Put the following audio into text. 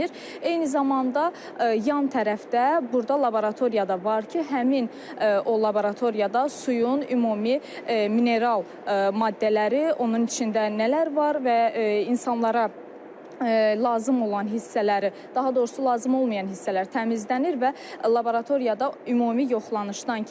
Eyni zamanda yan tərəfdə burda laboratoriya da var ki, həmin o laboratoriyada suyun ümumi mineral maddələri, onun içində nələr var və insanlara lazım olan hissələri, daha doğrusu lazım olmayan hissələr təmizlənir və laboratoriyada ümumi yoxlanışdan keçir.